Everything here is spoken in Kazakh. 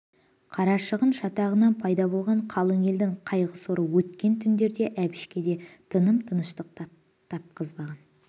қарашығын шатағынан пайда болған қалың елдің қайғы соры өткен түндерде әбішке де тыным-тыныштық тапқызбаған